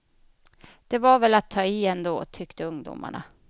Det var väl att ta i ändå, tyckte ungdomarna.